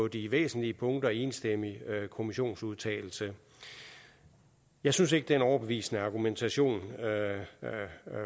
de væsentlige punkter i en enstemmig kommissionsudtalelse og jeg synes ikke det er en overbevisende argumentation der